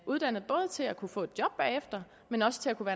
uddannet både til at kunne få et job bagefter men også til at kunne